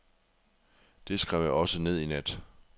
Det skrev jeg også ned i nat.